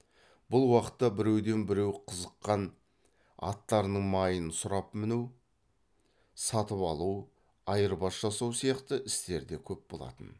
бұл уақытта біреуден біреу қызыққан аттарының майын сұрап міну сатып алу айырбас жасау сияқты істер де көп болатын